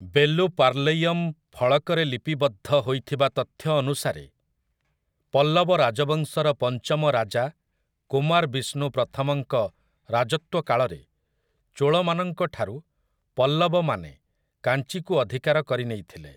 ବେଲୁର୍ପାଲୈୟମ୍ ଫଳକରେ ଲିପିବଦ୍ଧ ହୋଇଥିବା ତଥ୍ୟ ଅନୁସାରେ ପଲ୍ଲବ ରାଜବଂଶର ପଞ୍ଚମ ରାଜା କୁମାରବିଷ୍ଣୁ ପ୍ରଥମଙ୍କ ରାଜତ୍ୱକାଳରେ ଚୋଳମାନଙ୍କ ଠାରୁ ପଲ୍ଲବମାନେ କାଞ୍ଚିକୁ ଅଧିକାର କରିନେଇଥିଲେ ।